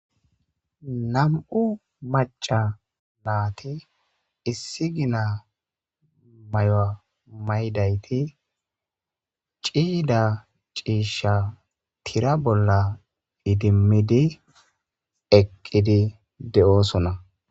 Nam'u maca naati issi gina may'oa maydayti ciida ciisha tira bolla idimmidi eqqidi de'oosona.